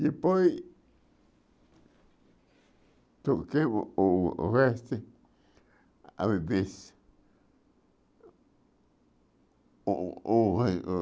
Depois, troquei o o o resto,